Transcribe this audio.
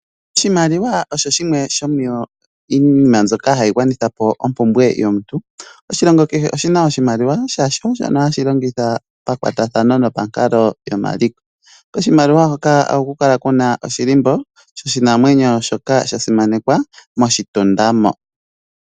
Oshimaliwa osho shimwe shomiinima mbyoka hayigwanitha po ompumbwe yomuntu. Oshilongo kehe oshina oshimaliwa shasho shono hashilongithwa pakwatathano nopankalo yomaliko. Oshimaliwa hoka ohakukala kuna oshilimbo shoshinamwenyo shoka shasimanekwa moshitunda mo